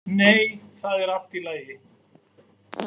Nei, það er allt í lagi.